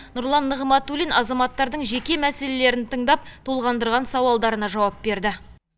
нұрлан нығматулин азаматтардың жеке мәселелерін тыңдап толғандырған сауалдарына жауап берді